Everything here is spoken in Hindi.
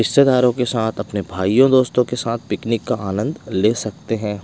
रिश्तेदारों के साथ अपने भाईयों दोस्तों के साथ पिकनिक का आनंद ले सकते हैं।